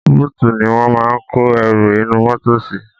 Bóòtù ni wọ́n máa ń kó ẹrù inú mọ́tọ̀ sí.